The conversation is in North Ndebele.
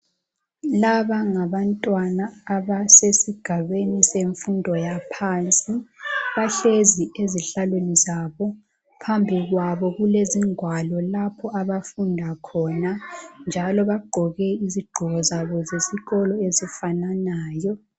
Laba ngabantwana abasesigabeni semfundo yaphansi bahlezi ezihlalweni zabo phambi kwabo kulezingwalo lapho abafunda khona njalo bagqoke izigqoko zabo zesikolo ezifananayo.